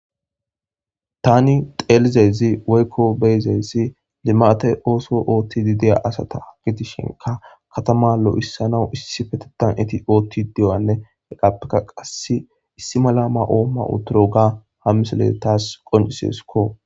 Tani xeelizezi woykko beyzeyssi limate ooso ootti di deya asata gidishinka katama lo7issanawu issi fetetan iti ootti dewanne eqappeka qasse issi mala ma oomma uturo ga hammisole taas qoncisesukko.